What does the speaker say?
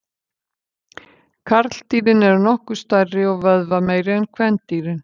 Karldýrin eru nokkuð stærri og vöðvameiri en kvendýrin.